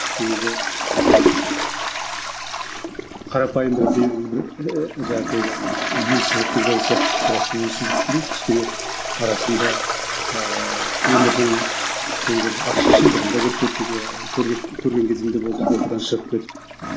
себебі қарапайым бір белгілі бір ііі түзу сызықты жол сияқты бірақ түзі сызықты емес кішкене арасында ааа өмірдің кейбір ащы шындығын да көріп кеттік иә көрдік көрген кезім де болды оқудан шығып кетіп